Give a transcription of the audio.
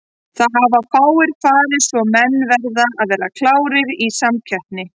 Það hafa fáir farið svo menn verða að vera klárir í samkeppni.